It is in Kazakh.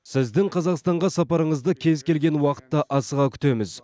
сіздің қазақстанға сапарыңызды кез келген уақытта асыға күтеміз